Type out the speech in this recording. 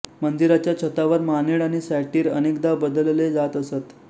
मंदिराच्या छतावर मानेड आणि सॅटीर अनेकदा बदलले जात असत